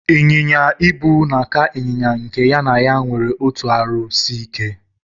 Inyinya-ibu na aka inyinya nke ya na ya nwere otụ arụ sike.